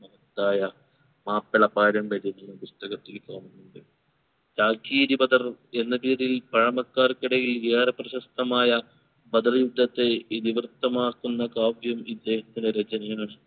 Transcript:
മഹത്തായ മാപ്പിള പാരമ്പര്യത്തിലും പുസ്തകത്തിലും കാണുന്നുണ്ട് ചാകിരി ബദറു എന്ന പേരിൽ പഴമക്കാർക്ക് ഇടയിൽ ഏറെ പ്രശസ്തമായ ബദർ യുദ്ധത്തെ ഇതിവൃത്തമാക്കുന്ന കാവ്യം ഇദ്ദേഹത്തിൻറെ രചനയിൽ